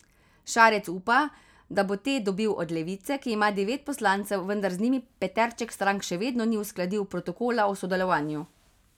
Šarec upa, da bo te dobil od Levice, ki ima devet poslancev, vendar z njimi peterček strank še vedno ni uskladil protokola o sodelovanju.